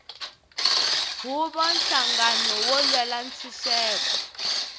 huvo nhlangano wo lwela ntshuxeko